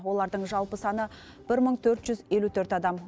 олардың жалпы саны бір мың төрт жүз елу төрт адам